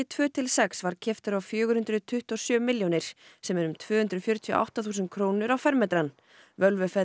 tveir til sex var keyptur á fjögur hundruð tuttugu og sjö milljónir sem er um tvö hundruð fjörutíu og átta þúsund krónur á fermetrann